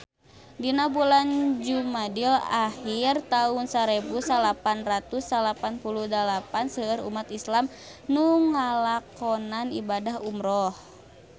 Dina bulan Jumadil ahir taun sarebu salapan ratus salapan puluh dalapan seueur umat islam nu ngalakonan ibadah umrah